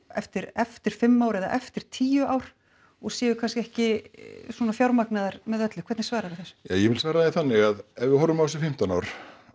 eftir eftir fimm ár eða eftir tíu ár og séu kannski ekki fjármagnaðar með öllu hvernig svararðu þessu ja ég vil svara því þannig að ef við horfum á þessi fimmtán ár